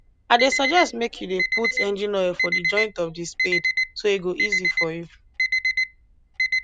i dey suggest make you dey put engine oil for the joint of the spade so e go easy for you